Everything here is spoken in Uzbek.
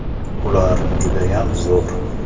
Ular “Judayam zo‘r!